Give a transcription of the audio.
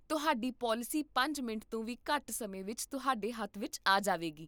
ਤੁਹਾਡੀ ਪਾਲਿਸੀ ਪੰਜ ਮਿੰਟ ਤੋਂ ਵੀ ਘੱਟ ਸਮੇਂ ਵਿੱਚ ਤੁਹਾਡੇ ਹੱਥ ਵਿੱਚ ਆ ਜਾਵੇਗੀ